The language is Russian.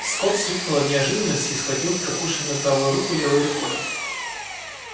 скотт вскрикнул от неожиданности и схватил прокушенную правую руку левой рукой